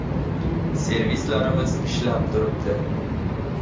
Servislarimiz ishlab turibdi.